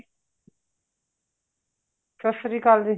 ਸਤਿ ਸ਼੍ਰੀ ਅਕਾਲ ਜੀ